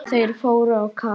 Þeir fóru á kaf.